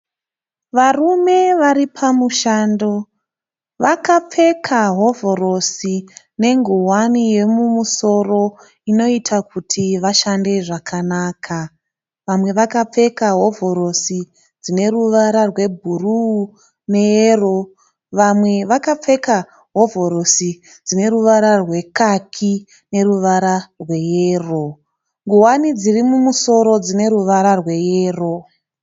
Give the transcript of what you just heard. Varume varipamushando. Vakapfeka hovhorosi nengowana yemumusoro inoita kuti vashande zvakanaka. Vamwe vakapfeka hovhorosi dzineruvara rwe bhuruu neyero vamwe vakapfeka hovhorosi dzineruvara rwekaki neruvara rweyero. Ngowani dziri mumusoro dzineruvara rweyero.